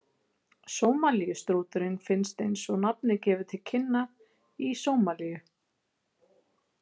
Sómalíustrúturinn finnst eins og nafnið gefur til kynna í Sómalíu.